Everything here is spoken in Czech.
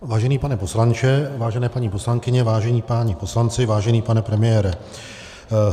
Vážený pane poslanče, vážené paní poslankyně, vážení páni poslanci, vážený pane premiére.